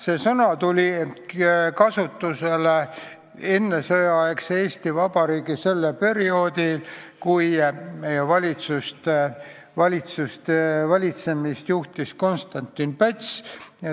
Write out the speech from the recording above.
See sõna tuli kasutusele ennesõjaaegse Eesti Vabariigi perioodil, kui meie valitsust juhtis Konstantin Päts.